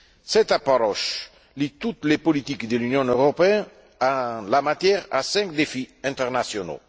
Cette approche lie toutes les politiques de l'Union européenne en la matière à cinq défis internationaux.